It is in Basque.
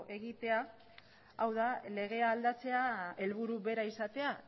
egite hau da legea aldatzea helburu bera izatea